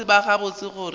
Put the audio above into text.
be ba tseba gabotse gore